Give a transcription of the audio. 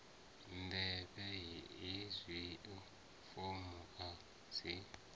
ḓivhe hezwio fomo a dzi